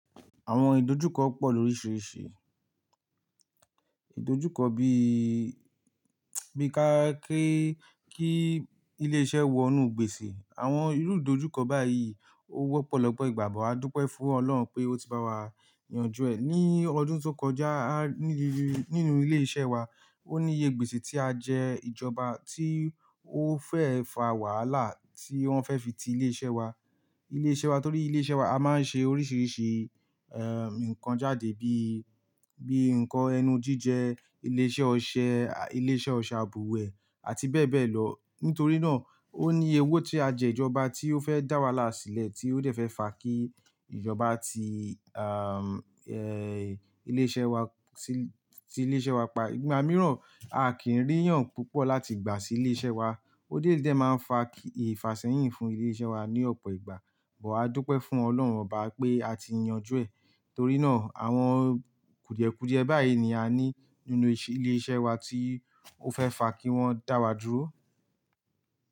Àwọn ìdojúkọ pọ̀ lóríṣiríṣi. Ìdojúkọ bí, bí ka kí, kí ilé iṣẹ́ wọnú gbèsè. Àwọn irú ìdojúkọ báyìí ó wọ́pọ̀ lọ́pọ̀ ìgbà bọ̀. A dúpẹ́ fún Ọlọ́run pé ó ti bá wa yanjú ẹ̀. Ní ọdún tó kọjá, nílé, nínú ilé iṣẹ́ wa, ó níye gbèsè tí a jẹ ìjọba tí ó fẹ́ fà wàhálà tí wọ́n fẹ́ fi ti ilé iṣẹ́ wa. Ilé iṣẹ́ wa torí ilé iṣẹ́ wa, a máa ń ṣe oríṣiríṣi, ǹkan jáde bí, bí nǹkan ẹnu jíjẹ, ilé iṣẹ́ ọṣẹ, ilé iṣẹ́ òṣe abùwẹ̀ àti bẹ́ẹ̀ bẹ́ẹ̀ lọ. Nítorí náà ó ní iye owo tí a jẹ ìjọba tí ó fẹ́ dá wàhálà sílẹ̀ tí ó dẹ̀ fẹ́ fà kí ìjọba ti, ilé iṣẹ́ wa sí, sí ilé iṣẹ́ wa pa. Ìgbà mìíràn a kì í ríyàn púpọ̀ láti gbà sí ilé iṣẹ́ wa. Ó déédé máa ń fà kí ìfàṣẹ́yìn fún ilé iṣẹ́ wa ní ọ̀pọ̀ ìgbà. Bọ̀ adúpẹ́ fún Ọlọ́run oba pé a ti yanjú ẹ̀. Torí náà àwọn kùdìẹ́kùdìẹ́ báyìí ni a ní nínú ilé iṣẹ́ wa tí ó fẹ́ fà kí wọ́n dá wa dúró.